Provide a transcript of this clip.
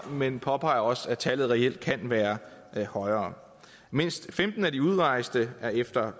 men påpeger også at tallet reelt kan være højere mindst femten af de udrejste er efter